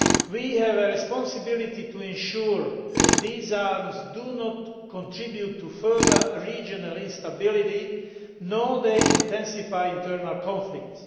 We have a responsibility to ensure that these arms do not contribute to further regional instability or intensify internal conflicts.